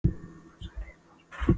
Og hann sagði við hana og spurði